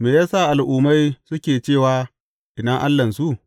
Me ya sa al’ummai suke cewa, Ina Allahnsu?